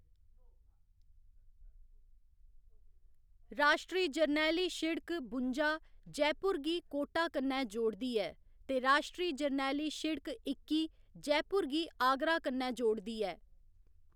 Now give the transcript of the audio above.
राश्ट्री जरनैली सिड़क बुंजा जयपुर गी कोटा कन्नै जोड़दी ऐ ते राश्ट्री जरनैली सिड़क इक्की जयपुर गी आगरा कन्नै जोड़दी ऐ।